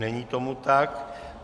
Není tomu tak.